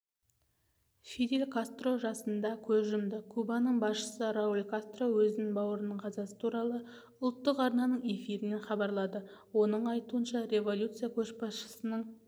фидель кастро жасында көз жұмды кубаның басшысы рауль кастро өзінің бауырының қазасы туралы ұлттық арнаның эфирінен хабарлады оның айтуынша революция көшбасшысының